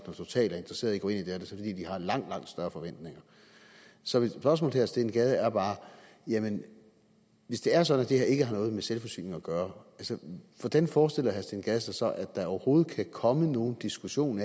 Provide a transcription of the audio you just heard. når total er interesseret i at gå ind i det her er det fordi de har langt langt større forventninger så mit spørgsmål til herre steen gade er bare hvis det er sådan at det her ikke har noget med selvforsyning at gøre hvordan forestiller herre steen gade sig så at der overhovedet kan komme nogen diskussion